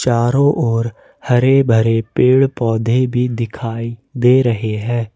तारो ओर हरे भरे पेड़ पौधे भी दिखाई दे रहे हैं।